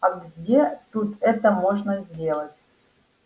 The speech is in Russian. а где тут это можно сделать